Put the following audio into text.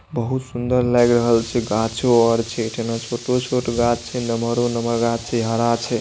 बहुत सुंदर लग रहील छे घाच और छे तेन छोट-छोट घाच छे नमहर नमहर घाच छे हरा छे |